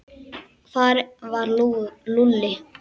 Hvar var Lúlli?